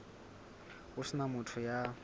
ho se na motho ya